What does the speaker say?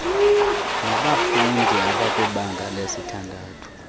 nabafundi abakwibanga lesithandathu